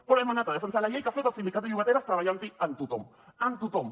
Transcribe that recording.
però hem anat a defensar la llei que ha fet el sindicat de llogateres treballant hi amb tothom amb tothom